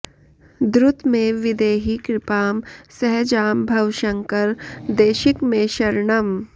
द्रुतमेव विधेहि कृपां सहजां भव शंकर देशिक मे शरणम्